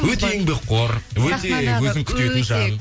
өте еңбекқор өте өзін күтетін жан